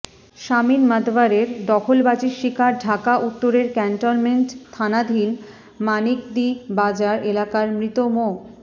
শামীম মাতবরের দখলবাজির শিকার ঢাকা উত্তরের ক্যান্টনমেন্ট থানাধীন মানিকদি বাজার এলাকার মৃত মো